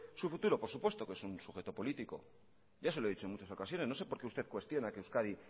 su futuro por supuesto que es un sujeto político ya se lo he dicho en muchas ocasiones no sé por qué usted cuestiona que euskadi